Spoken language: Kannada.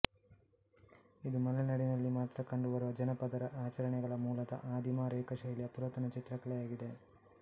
ಇದು ಮಲೆನಾಡಿನಲ್ಲಿ ಮಾತ್ರ ಕಂಡುಬರುವ ಜನಪದರ ಆಚರಣೆಗಳ ಮೂಲದ ಆದಿಮ ರೇಖಾ ಶೈಲಿಯ ಪುರಾತನ ಚಿತ್ರಕಲೆಯಾಗಿದೆ